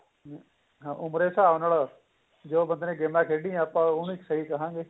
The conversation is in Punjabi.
ਉਹ ਬੜੇ ਹਿਸਾਬ ਨਾਲ ਜੋ ਬੰਦੇ ਨੇ ਗੇਮਾ ਖੇਡੀਆਂ ਉਹਨੂੰ ਸਹੀ ਕਹਾਗੇ